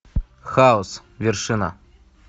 хаос вершина